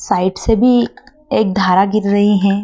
Side से भी एक धारा गिर रही हैं।